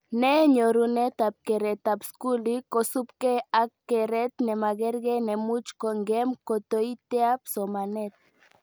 Ne nyorunetab keretab skuli kosubke ak keret nemakerke nemuch kongem kotoiteab somanet